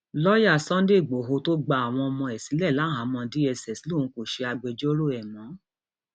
lọọyà sunday igbodò tó gba àwọn ọmọ ẹ sílẹ láhàámọ dss lòun kò ṣe agbẹjọrò ẹ mọ